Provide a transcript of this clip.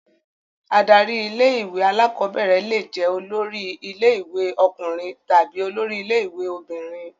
Adarí ilé-ìwé alákọ̀ọ́bẹ̀rẹ̀ le jẹ́ olórí ilé-ìwé ọkùnrin tàbí olórí ilé-ìwé obìnrin.